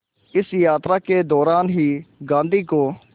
इस यात्रा के दौरान ही गांधी को